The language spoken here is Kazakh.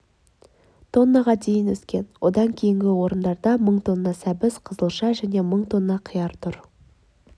тоннаға дейін өскен одан кейінгі орындарда мың тонна сәбіз қызылша және мың тонна қияр тұр